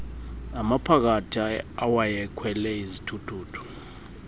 amaphakathi awayekhwele izithuthuthu